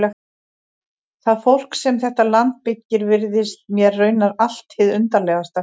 Það fólk sem þetta land byggir virðist mér raunar allt hið undarlegasta.